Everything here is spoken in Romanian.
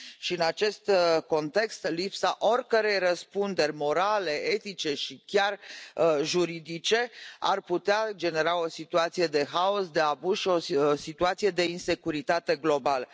În acest context, lipsa oricărei răspunderi morale, etice și chiar juridice ar putea genera o situație de haos, de abuz și o situație de insecuritate globală.